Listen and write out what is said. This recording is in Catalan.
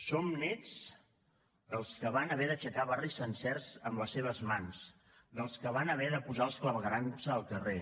som nets dels que van haver d’aixecar barris sencers amb els seves mans dels que van haver de posar els claveguerams al carrer